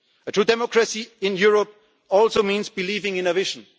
world. A true democracy in Europe also means believing in